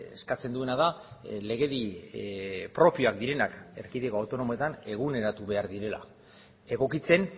eskatzen duena da legedi propioak direnak erkidego autonomoetan eguneratu behar direla egokitzen